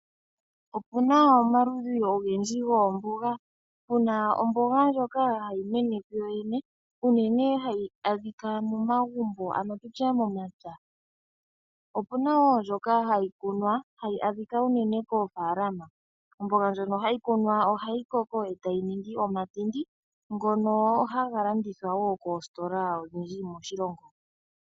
Opu na omaludhi ogendji goomboga. Puna omboga ndjoka hayi mene kuyo yene, unene hayi adhika momagumbo ano tu tye momapya. Opu na wo ndjoka hayi kunwa, hayi adhika unene koofaalama. Omboga ndjoka hayi kunwa ohayi koko e ta yi ningi omatindi, ngono haga landithwa wo koositola odhindji moshilongo.